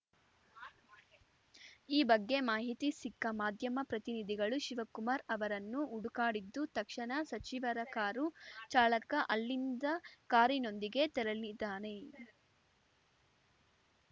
ಈ ಬಗ್ಗೆ ಮಾಹಿತಿ ಸಿಕ್ಕ ಮಾಧ್ಯಮ ಪ್ರತಿನಿಧಿಗಳು ಶಿವಕುಮಾರ್‌ ಅವರನ್ನು ಹುಡುಕಾಡಿದ್ದು ತಕ್ಷಣ ಸಚಿವರ ಕಾರು ಚಾಲಕ ಅಲ್ಲಿಂದ ಕಾರಿನೊಂದಿಗೆ ತೆರಳಿದ್ದಾನೆ